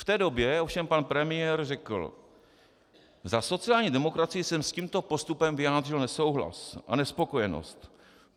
V té době ovšem pan premiér řekl: Za sociální demokracii jsem s tímto postupem vyjádřil nesouhlas a nespokojenost.